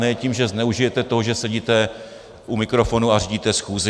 Ne tím, že zneužijete toho, že sedíte u mikrofonu a řídíte schůzi.